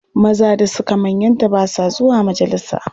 Maza da suka manyanta ba sa zuwa majalisa.